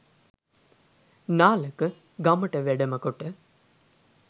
නාලක ගමට වැඩම කොට